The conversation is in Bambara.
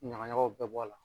Ɲagaɲagaw bɛɛ bɔ a la.